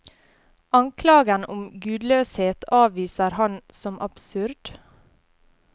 Anklagen om gudløshet avviser han som absurd.